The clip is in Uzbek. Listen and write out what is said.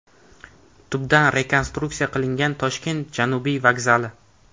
Tubdan rekonstruksiya qilingan Toshkent Janubiy vokzali.